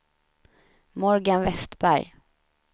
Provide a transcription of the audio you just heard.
Morgan Westberg